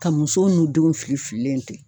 Ka musow n'u denw fili fililen to yen